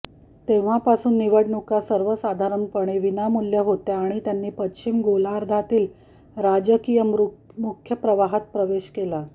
तेव्हापासून निवडणुका सर्वसाधारणपणे विनामूल्य होत्या आणि त्यांनी पश्चिम गोलार्धातील राजकीय मुख्य प्रवाहात प्रवेश केला